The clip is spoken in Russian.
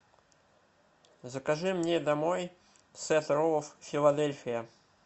закажи мне домой сет роллов филадельфия